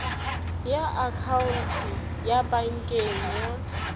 ya akhaonto ya pankeng ya